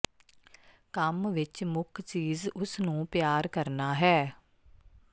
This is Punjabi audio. ਕੰਮ ਵਿਚ ਮੁੱਖ ਚੀਜ਼ ਉਸ ਨੂੰ ਪਿਆਰ ਕਰਨਾ ਹੈ